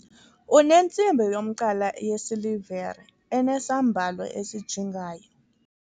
unentsimbi yomqala yesilivere enesambalo esijingayo